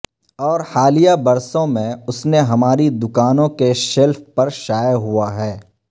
اور حالیہ برسوں میں اس نے ہماری دکانوں کے شیلف پر شائع ہوا ہے